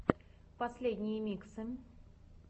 последние миксы